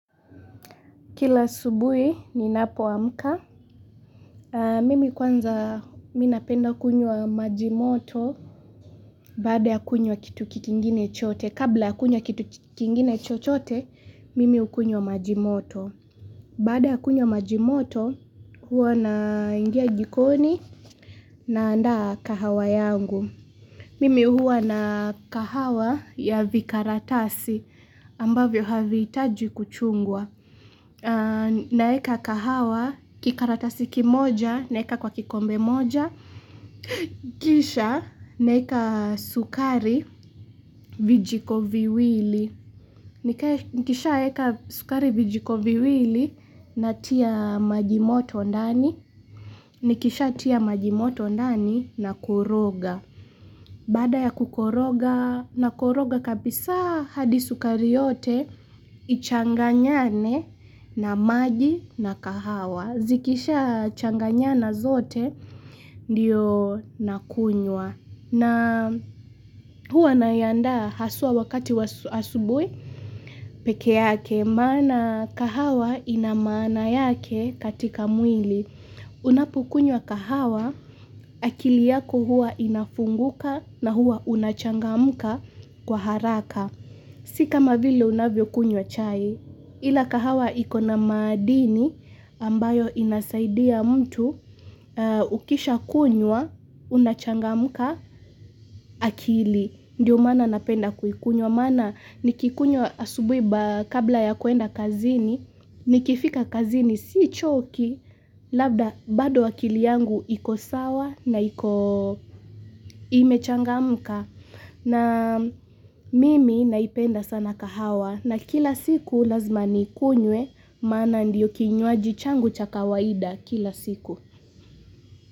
Kila subuhi ni napo amka. Mimi kwanza minapenda kunywa majimoto baada ya kunywa kitu kikingine chochote. Kabla ya kunywa kitu kikingine chochote, mimi ukunywa majimoto. Baada ya kunywa majimoto, huwa na ingia jikoni na anda kahawa yangu. Mimi huwa na kahawa ya vikaratasi ambavyo havitaji kuchungwa. Na eka kahawa kikaratasiki moja na eka kwa kikombe moja Kisha na eka sukari vijikoviwili Nikisha eka sukari vijikoviwili na tia majimoto ndani Nikisha tia majimoto ndani na kuroga Baada ya kukoroga na kuroga kabisa hadi sukari yote Ichanganyane na maji na kahawa Zikisha changanyana zote ndiyo nakunywa na huwa nayinda haswa wakati asubuhi peke yake Mana kahawa inamana yake katika mwili Unapokunywa kahawa akili yako huwa inafunguka na huwa unachangamka kwa haraka Sika mavile unavyo kunywa chai Ila kahawa ikona madini ambayo inasaidia mtu ukisha kunywa unachangamuka akili. Ndiyo mana napenda kuikunywa mana nikikunywa asubuhi kabla ya kuenda kazini nikifika kazini si choki labda bado akili yangu ikosawa na imechangamka. Na mimi naipenda sana kahawa na kila siku lazima nikunye Mana ndiyo kinywaji changu cha kawaida kila siku.